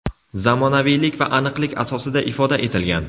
zamonaviylik va aniqlik asosida ifoda etilgan.